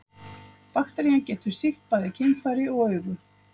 bakterían getur sýkt bæði kynfæri og augu